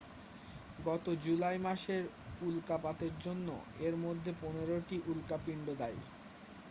গত জুলাই মাসের উল্কাপাতের জন্য এর মধ্যে পনেরোটি উল্কাপিন্ড দায়ী